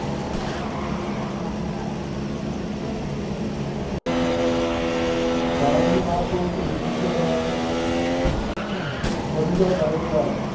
ડાંગ નું નામ લો એટલે બીજું શું યાદ આવે સરિતા ગાયકવાડ.